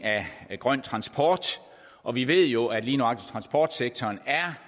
af grøn transport og vi ved jo at lige nøjagtig transportsektoren er